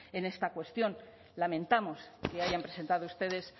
en esta cuestión lamentamos que hayan presentado ustedes